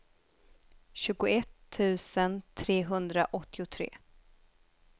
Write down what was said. tjugoett tusen trehundraåttiotre